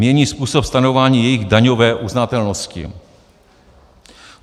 ... mění způsob stanovování jejich daňové uznatelnosti.